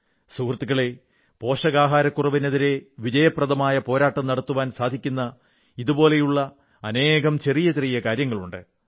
സുഹൃത്തുക്കളേ പോഷകാഹാരക്കുറവിനെതിരെ വിജയപ്രദമായ പോരാട്ടം നടത്തുവാൻ സാധിക്കുന്ന ഇതുപോലുള്ള അനേകം ചെറിയ ചെറിയ കാര്യങ്ങളുണ്ട്